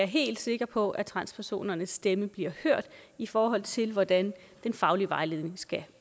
helt sikre på at transpersonernes stemme bliver hørt i forhold til hvordan den faglige vejledning skal